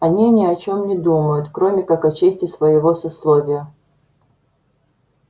они ни о чем не думают кроме как о чести своего сословия